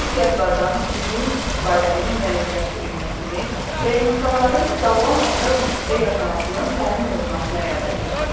Təbii ehtiyatlardan düzgün istifadənin müəyyənləşdirilməsini və insanların sağlam ətraf mühitdə yaşamasının təmin olunmasını həyata keçirir.